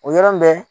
O yɔrɔ bɛ